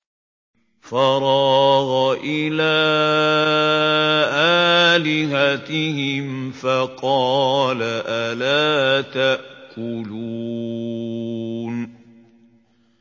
فَرَاغَ إِلَىٰ آلِهَتِهِمْ فَقَالَ أَلَا تَأْكُلُونَ